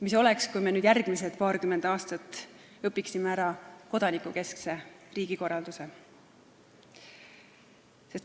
Mis oleks, kui me järgmise paarikümne aastaga õpiksime ära kodanikukeskse riigikorralduse?